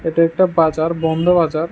এটা একটা বাজার বন্ধ বাজার।